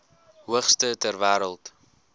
hoogste ter wêreld